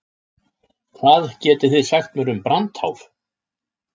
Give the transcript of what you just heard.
Hvað getið þið sagt mér um brandháf?